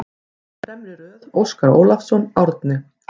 Fremri röð: Óskar Ólafsson, Árni